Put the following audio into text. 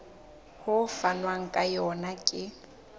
ho fanwang ka yona ke